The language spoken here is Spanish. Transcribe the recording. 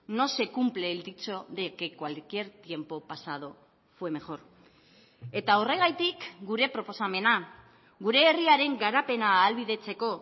no se cumple el dicho de que cualquier tiempo pasado fue mejor eta horregatik gure proposamena gure herriaren garapena ahalbidetzeko